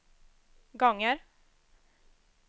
gånger